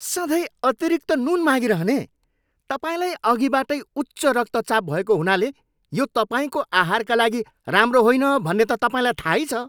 सधैँ अतिरिक्त नुन मागिरहने! तपाईँलाई अघिबाटै उच्च रक्तचाप भएको हुनाले यो तपाईँको आहारका लागि राम्रो होइन भन्ने त तपाईँलाई थाहै छ।